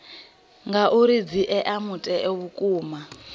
ngauri dzi ea mutheo vhukuma